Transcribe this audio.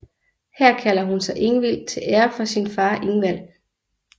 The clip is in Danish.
Her kalder hun sig Ingvild til ære for sin far Ingvald